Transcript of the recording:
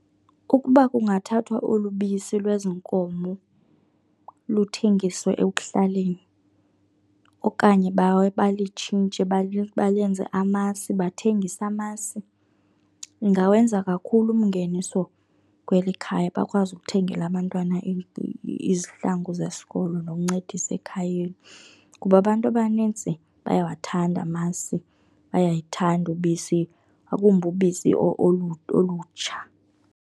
Ukuba kungathathwa olu bisi lwezi nkomo luthengiswe ekuhlaleni okanye balitshintshe balenze amasi, bathengise amasi, ingawenza kakhulu umngeniso kweli khaya bakwazi ukuthengela abantwana izihlangu zesikolo nokuncedisa ekhayeni. Kuba abantu abanintsi bayawathanda amasi, bayayithanda ubisi, ngakumbi ubisi olutsha.